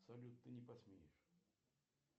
салют ты не посмеешь